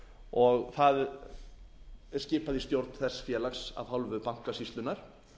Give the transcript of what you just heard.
og það er skipað í stjórn þess félags af hálfu bankasýslunnar